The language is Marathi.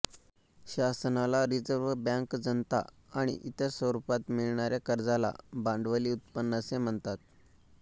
शासनाला रिझर्व बँक जनता आणि इतर स्वरुपात मिळणाऱ्या कर्जाला भांडवली उत्पन्न असे म्हणतात